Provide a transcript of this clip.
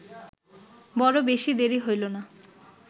বড় বেশী দেরি হইল না